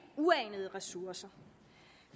uanede ressourcer